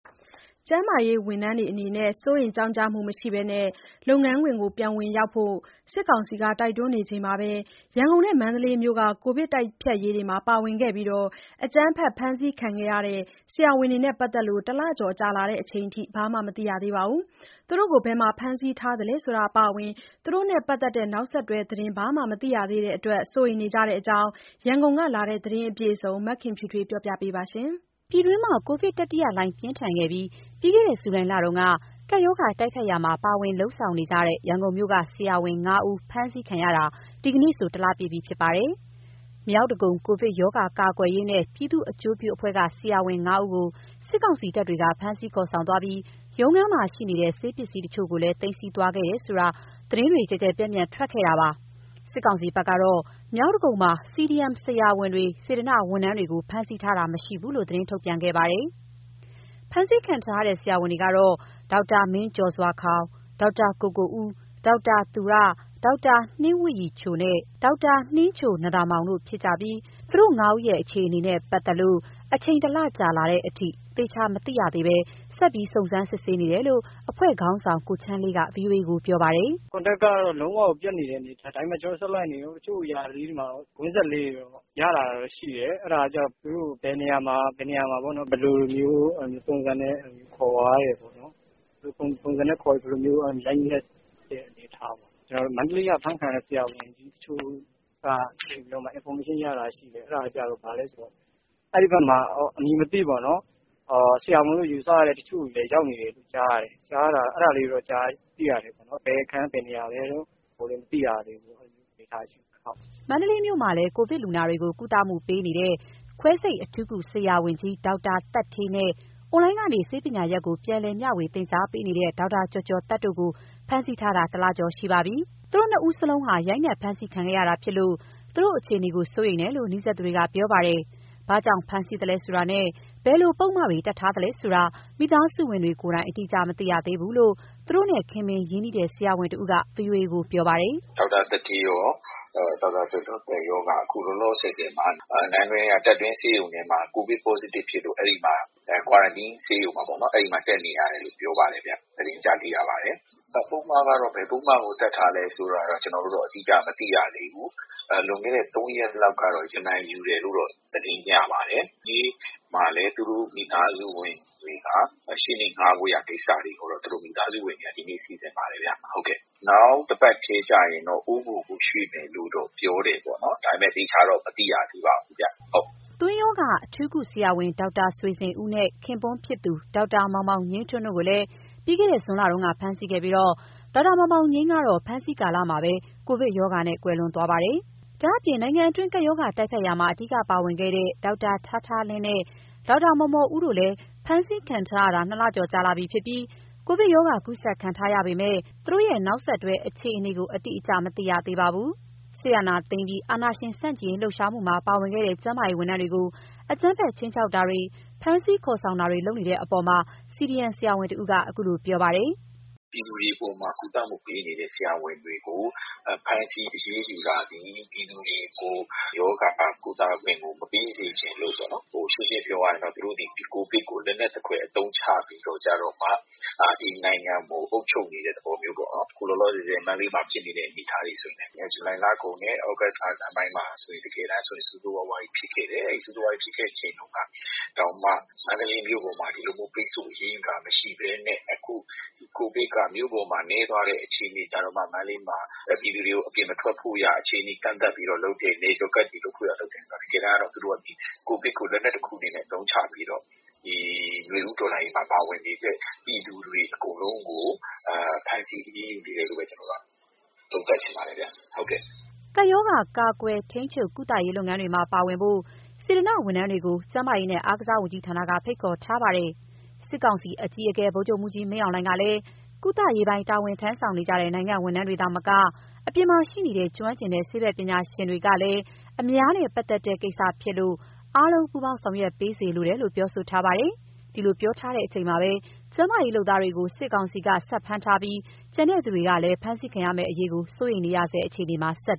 ကျန်းမာရေးဝန်ထမ်းတွေ စိုးရိမ်ကြောင့်ကြမှုမရှိဘဲ လုပ်ငန်းခွင်ပြန်လည်ဝင်ရောက်ဖို့ စစ်ကောင်စီက တိုက်တွန်းနေချိန်မှာပဲ ရန်ကုန်နဲ့ မန္တလေးမြို့က ကိုဗစ်တိုက်ဖျက်ရေးမှာ ပါဝင်ခဲ့ပြီး အကြမ်းဖက်ဖမ်းဆီးခံခဲ့ရတဲ့ ဆရာဝန်တွေနဲ့ပတ်သက်လို့ တလကျော်ကြာလာချိန်အထိ ဘာမှမသိရသေးပါဘူး။ သူတို့ကိုဘယ်မှာ ဖမ်းဆီးထားသလဲဆိုတာအပါအဝင် သူတို့နဲ့ပတ်သက်တဲ့ နောက်ဆက်တွဲသတင်း ဘာမှမသိရသေးတဲ့အတွက် စိုးရိမ်နေကြတဲ့အကြောင်း ရန်ကုန်ကလာတဲ့ သတင်းအပြည့်အစုံကို မခင်ဖြူထွေးက ပြောပြပါမယ်။ ပြည်တွင်းမှာ ကိုဗစ်တတိယလှိုင်း ပြင်းထန်ခဲ့တဲ့ ပြီးခဲ့တဲ့ ဇူလိုင်လတုန်းက ကပ်ရောဂါတိုက်ဖျက်ရာမှာ ပါဝင်လုပ်ဆောင်နေတဲ့ ရန်ကုန်မြို့က ဆရာဝန် ၅ဦး ဖမ်းဆီးခံရတာ ဒီကနေ့ဆို ၁ လပြည့်ပြီ ဖြစ်ပါတယ်။ မြောက်ဒဂုံ ကိုဗစ်ရောဂါကာကွယ်ရေးနဲ့ ပြည်သူ့အကျိုးပြုအဖွဲ့က ဆရာဝန် ၅ ဦးကို စစ်ကောင်စီတပ်တွေက ဖမ်းဆီးခေါ်ဆောင်သွားပြီး ရုံးခန်းမှာရှိနေတဲ့ ဆေးပစ္စည်းတချို့ကိုလည်း သိမ်းဆည်းသွားခဲ့တယ်ဆိုတာ သတင်းတွေ ကျယ်ကျယ်ပျံ့ပျံ့ကို ထွက်ခဲ့တာပါ။ စစ်ကောင်စီဘက်ကတော့ မြောက်ဒဂုံမှာ CDM ဆရာဝန်၊ စေတနာ့ဝန်ထမ်းတွေကို ဖမ်းဆီးထားခြင်းမရှိဘူးလို့ သတင်းထုတ်ပြန်ခဲ့ပါတယ်။ ဖမ်းဆီးခံထားရတဲ့ ဆရာဝန်တွေကတော့ ဒေါက်တာမင်းကျော်စွာခေါင်၊ ဒေါက်တာကိုကိုဦး၊ ဒေါက်တာ သူရ၊ ဒေါက်တာနှင်းဝတ်ရည်ချိုနဲ့ ဒေါက်တာနှင်းချိုနံ့သာမောင်တို့ ဖြစ်ကြပြီး သူတို့ ၅ ဦးရဲ့ အခြေအနေနဲ့ပတ်သက်လို့ အချိန် ၁ လကြာလာချိန်အထိ သေချာမသိရသေးဘဲ ဆက်ပြီးစုံစမ်းနေတယ်လို့ အဖွဲ့ခေါင်းဆောင် ကိုချမ်းလေးက ဗွီအိုအေကို ပြောပါတယ်။ "Contact ကတော့ လုံးဝကိုပြတ်နေတဲ့ အနေအထား။ ဒါပေမယ့် ကျနော်တို့ဆက်လိုက်နေတုန်း။ တချို့အရာလေးတွေမှာတော့ ကွင်းဆက်လေးတွေတော့ ရလာတာတော့ရှိတယ်။ အဲဒါကကျတော့ သူတို့ကို ဘယ်နေရာမှာ ဘယ်လိုမျိုးပုံစံနဲ့ ခေါ်သွားပြီးတော့ ရိုက်နှက်တဲ့အနေအထားပေါ့။ ကျနော်တို့ မန္တလေးက အဖမ်းခံရတဲ့ဆရာဝန်တချို့က Information ရတာရှိတယ်။ အဲဒါက ဘာလဲဆိုတော့ အဲဒီဘက်မှာ အမည်မသိပေါ့နော် ဆရာဝန်လို့ယူဆရတဲ့ တချို့တွေလည်းရောက်နေတယ် ကြားရတယ်။ အဲဒါလေးတွေတော့ သိရတယ်ခင်ဗျ။ ဘယ်အခန်း၊ ဘယ်နေရာလဲတော့ မသိရသေးဘူးပေါ့။ အဲဒီအနေအထားမှာ ရှိနေတယ်။" မန္တလေးမြို့မှာလည်း ကိုဗစ်လူနာတွေကို ကုသမှုပေးနေတဲ့ ခွဲစိတ်အထူးကုဆရာဝန်ကြီး ဒေါက်တာသက်ဌေးနဲ့ အွန်လိုင်းကနေ ဆေးပညာရပ်ကို ပြန်လည်မျှဝေ သင်ကြားပေးနေတဲ့ ဒေါက်တာကျော်ကျော်သက်တို့ကို ဖမ်းဆီးထားတာ ၁ လကျော်ရှိပါပြီ။ သူတို့ နှစ်ဦးစလုံးဟာ ရိုက်နှက် ဖမ်းဆီးခံခဲ့ရတာဖြစ်လို့ သူတို့အခြေအနေကို စိုးရိမ်နေတယ်လို့ နီးစပ်သူတွေက ပြောပါတယ်။ ဘာကြောင့်ဖမ်းဆီးသလဲဆိုတာနဲ့ ဘယ်လိုပုဒ်မတွေ တပ်ထားလဲဆိုတာ မိသားစုဝင်တွေကိုယ်တိုင် အတိအကျမသိရသေးဘူးလို့ သူတို့နဲ့ ခင်မင်ရင်းနှီးတဲ့ ဆရာဝန်တဦးက ဗွီအိုအေကိုပြောပါတယ်။ "ဒေါက်တာသက်ဌေးရော၊ ဒေါက်တာကျော်ကျော်သက်ရောက အခုလောလောဆယ်မှာ နန်းတွင်းက တပ်တွင်းဆေးရုံထဲမှာ ကိုဗစ် Positive ဖြစ်လို့ အဲဒီက Quarantine ဆေးရုံမှာတက်နေရတယ်လို့ သတင်းကြားသိရပါတယ်။ ပုဒ်မကတော့ ဘယ်ပုဒ်မကို တပ်ထားလဲဆိုတာတော့ ကျနော်တို့တော့ အတိအကျမသိရသေးဘူး။ လွန်ခဲ့တဲ့ ၃ ရက်လောက်ကတော့ ရမန်ယူတယ်လို့တော့ သတင်းရပါတယ်။ ဒီနေ့မှာလည်း သူတို့မိသားစုဝင်တွေက ရှေ့နေငှားဖို့ကိစ္စတွေကိုတော့ စီစဉ်နေပါတယ်ဗျ။ နောက်တပတ်ထဲကျရင်တော့ အိုးဘိုကိုရွှေ့မယ်လို့တော့ ပြောတယ်ပေါ့နော်။ ဒါပေမယ့် သေချာတော့မသိရသေးပါဘူးဗျ။" သွေးရောဂါ အထူးကုဆရာဝန် ဒေါက်တာဆွေဇင်ဦးနဲ့ ခင်ပွန်းဖြစ်သူ ဒေါက်တာမောင်မောင်ငြိမ်းထွန်းတို့ကိုလည်း ပြီးခဲ့တဲ့ ဇွန်လတုန်းက ဖမ်းဆီးခဲ့ပြီးတော့ ဒေါက်တာမောင်မောင်ငြိမ်းကတော့ ဖမ်းဆီးခံကာလမှာပဲ ကိုဗစ်ရောဂါနဲ့ ကွယ်လွန်ခဲ့တာပါ။ ဒါ့အပြင် နိုင်ငံတွင်း ကပ်ရောဂါတိုက်ဖျက်ရာမှာ အဓိကပါဝင်ခဲ့တဲ့ ဒေါက်တာထားထားလင်းနဲ့ ဒေါက်တာမော်မော်ဦးတို့လည်း ဖမ်းဆီးခံထားရတာ ၂ လကျော်ကြာလာပြီဖြစ်ပြီး ကိုဗစ်ရောဂါကူးစက်ခံထားရပေမယ့် သူတို့ရဲ့ နောက်ဆက်တွဲအခြေအနေကို အတိအကျမသိရသေးပါဘူး။ စစ်အာဏာသိမ်းပြီးနောက် အာဏာရှင်ဆန့်ကျင်ရေး လှုပ်ရှားမှုမှာပါဝင်ခဲ့တဲ့ ကျန်းမာရေးဝန်ထမ်းတွေကို အကြမ်းဖက်ခြိမ်းခြောက်တာတွေ၊ ဖမ်းဆီးခေါ်ဆောင်တာတွေ လုပ်နေတဲ့အပေါ် CDM ဆရာဝန်တဦးက - "ပြည်သူတွေအပေါ်မှာ ကုသမှုပေးနေတဲ့ ဆရာဝန်တွေကို ဖမ်းဆီးအရေးယူတာသည် ပြည်သူတွေကို ရောဂါကုသခွင့်ကို မပေးစေချင်လို့ပေါ့နော်။ ရှင်းရှင်းပြောရရင်တော့ သူတို့သည် ဒီကိုဗစ်ကို လက်နက်သဖွယ်အသုံးချပြီးတော့ ဒီနိုင်ငံကိုအုပ်ချုပ်နေတဲ့ သဘောမျိုးပေါ့။ အခုလောလောဆယ် မန္တလေးမှာဖြစ်နေတဲ့ အနေအထားတွေဆိုရင်လည်း ဇူလိုင်လကုန်နဲ့ ဩဂုတ်လဆန်းပိုင်းမှာဆိုရင် ဆိုးဆိုးရွားရွားကြီး ဖြစ်ခဲ့တယ်။ အဲလိုဖြစ်ခဲ့ချိန်တုန်းကတောင်မှ မန္တလေးမြို့ပေါ်မှာ ဒီလိုမျို းပိတ်ဆို့ အရေးယူတာမရှိဘဲနဲ့ အခုကိုဗစ်က မြို့ပေါ်မှာနည်းသွားတဲ့အချိန်မှ မန္တလေးမှာ ပြည်သူတွေကို အပြင်မထွက်ဖို့ ကန့်သတ်တယ်ဆိုတော့ တကယ်တမ်းက ကိုဗစ်ကို လက်နက်တခုအနေနဲ့ အသုံးချပြီးတော့ ဒီနွေဦးတော်လှန်ရေးမှာ ပါဝင်နေတဲ့ ပြည်သူတွေအကုန်လုံးကို ဖမ်းဆီးအရေးယူနေတယ်လို့ပဲ သုံးသပ်ချင်ပါတယ်ခင်ဗျ။" ကိုဗစ်ရောဂါ ကာကွယ်၊ ထိန်းချုပ်၊ ကုသရေးလုပ်ငန်းတွေမှာပါဝင်ဖို့ စေတနာ့ဝန်ထမ်းတွေကို ကျန်းမာရေးနဲ့ အားကစားဝန်ကြီးဌာနကဖိတ်ခေါ်ထားပါတယ်။ စစ်ကောင်စီအကြီးအကဲ ဗိုလ်ချုပ်မှူးကြီးမင်းအောင်လှိုင်ကလည်း ကုသရေးပိုင်း တာဝန်ထမ်းဆောင်နေတဲ့ နိုင်ငံ့ဝန်ထမ်းတွေသာမက အပြင်မှာရှိနေတဲ့ ကျွမ်းကျင်တဲ့ ဆေးဘက်ပညာရှင်တွေကလည်း အများနဲ့ပတ်သက်တဲ့ကိစ္စဖြစ်လို့ အားလုံးပူးပေါင်း ဆောင်ရွက်ပေးစေလိုတယ်လို့ ပြောထားပါတယ်။ ဒီလိုပြောထားချိန်မှာပဲ ကျန်းမာရေးလုပ်သားတွေကို စစ်ကောင်စီက ဆက်ဖမ်းထားပြီး ကျန်သူတွေဟာလည်း အဖမ်းခံရမယ့်အရေး စိုးရိမ်နေရဆဲအခြေအနေမှာ ဆက်